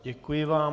Děkuji vám.